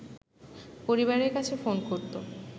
পরিবারের কাছে ফোন করত